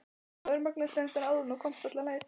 Þú örmagnaðist reyndar áður en þú komst alla leið.